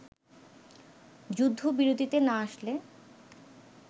যুদ্ধবিরতিতে না আসলে